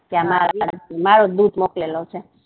મુકેલો છે